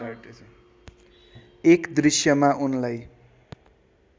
एक दृश्यमा उनलाई